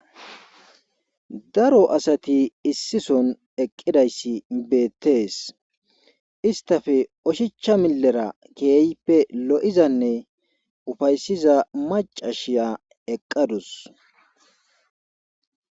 Daro asati issison eqqidayssi beettees istafe oshicha milera keeyppe lo'izanne ufaysiza macashiya eqqadus